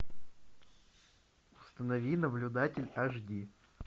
установи наблюдатель аш ди